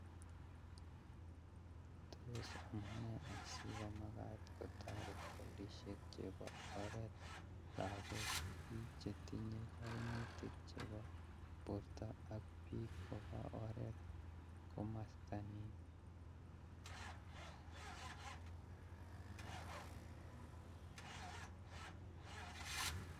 Tos amunee asikomakat kotoret polisiek chebo oret lakok ,biik chetinye kaimutik chebo borto ak biik koba oret komastanin